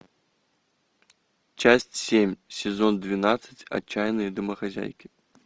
часть семь сезон двенадцать отчаянные домохозяйки